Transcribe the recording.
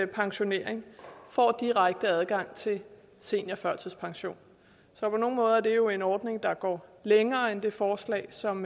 pensionering får direkte adgang til seniorførtidspension så på nogle måder er det jo en ordning der går længere end det forslag som